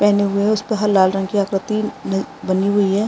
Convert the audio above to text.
पेहने हुए है उसपे ह लाल रंग की आकृति न बनी हुई है।